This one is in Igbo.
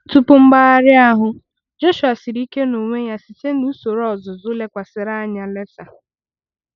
Tupu mgbagharị ahụ, Jọshụa siri ike n'onwe ya site na usoro ọzụzụ lekwasịrị anya laser.